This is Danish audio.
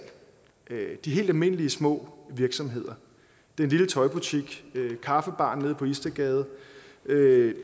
de helt almindelige små virksomheder den lille tøjbutik kaffebaren nede på istedgade